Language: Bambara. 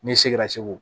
Ne seginna segu